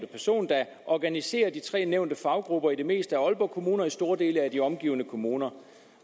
person der organiserer de tre nævnte faggrupper i det meste af aalborg kommune og i store dele af de omliggende kommuner